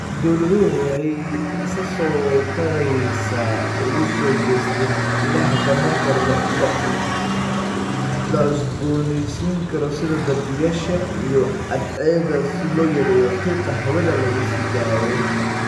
Dawladuhu waxay si isa soo taraysa ugu soo jeesteen ilaha tamarta la cusboonaysiin karo sida dabaysha iyo cadceedda si loo yareeyo qiiqa hawada lagu sii daayo.